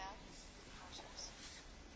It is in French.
Je n'en ai pas la moindre idée.